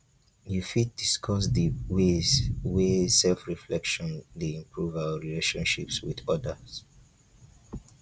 you fit discuss di ways wey self-reflection dey improve our relationships with odas?